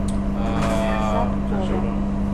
заткова